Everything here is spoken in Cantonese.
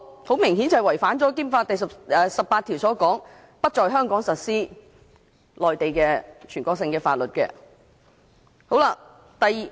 很明顯，這違反了《基本法》第十八條所訂有關不在香港實施全國性法律的規定。